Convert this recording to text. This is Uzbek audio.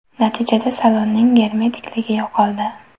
Natijada salonning germetikligi yo‘qoldi.